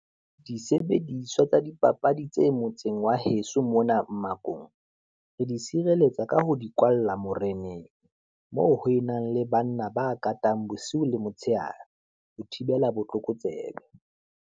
Disebediswa tsa dipapadi tse motseng wa heso mona mmakong. Re di tshireletsa ka ho di kwalla moreneng, moo ho e nang le banna ba katang bosiu le motshehare, ho thibela botlokotsebe.